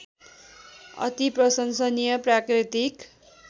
अति प्रशंसनीय प्राकृतिक